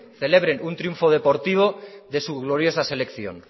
celebren un triunfo deportivo de su gloriosa selección